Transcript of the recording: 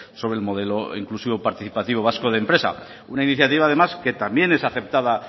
sobre el modelo inclusivo participativo vasco de empresa una iniciativa además que también es aceptada